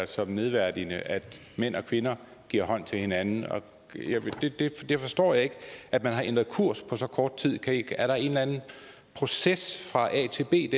som nedværdigende at mænd og kvinder giver hånd til hinanden jeg forstår ikke at man har ændret kurs på så kort tid er der en eller anden proces fra a til b